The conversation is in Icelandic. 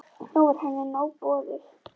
Nú var henni nóg boðið.